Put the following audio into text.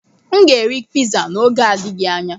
M ga-eri piza n'oge na-adịghị anya.